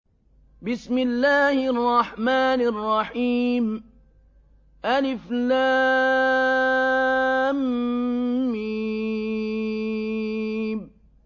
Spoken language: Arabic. الم